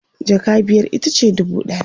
jaka biyar itace dubu ɗaya